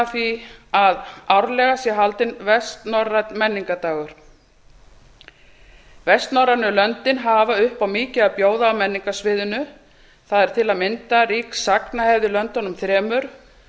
því að árlega sé haldinn vestnorrænn menningardagur vestnorrænu löndin hafa upp á mikið að bjóða á menningarsviðinu það er tam rík sagnahefð í löndunum þremur